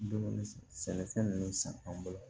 Dumuni sɛnɛfɛn ninnu san an bolo